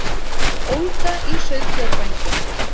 Ólga í sauðfjárbændum